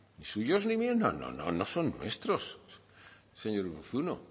ni suyos ni míos no no son nuestros señor urruzuno